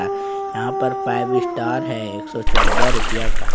यहां पर five star है एक सौ चौदह रुपया का।